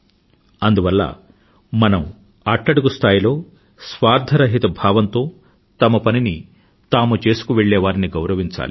అందువల్ల మనం అట్టడుగు స్థాయిలో స్వార్థరహిత భావంతో తమ పనిని తాము చేసుకువెళ్ళేవారిని గౌరవించాలి